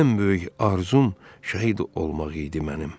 Ən böyük arzum şəhid olmaq idi mənim.